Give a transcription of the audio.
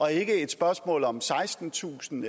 er ikke et spørgsmål om sekstentusind